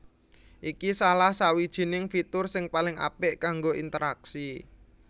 Iki salah sawijining fitur sing paling apik kanggo interaksi